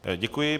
Děkuji.